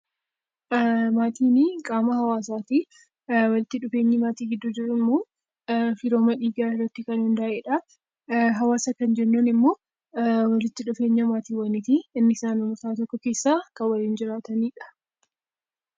Maatiin qaama hawaasaati. Walitti dhufeenyi maatii gidduu jiru immoo hariiroo dhiigaa irratti kan hundaa'edha. Hawaasa kan jennuun immoo namoota naannoo tokko keessa waliin jiraatanidha